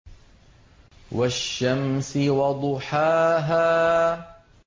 وَالشَّمْسِ وَضُحَاهَا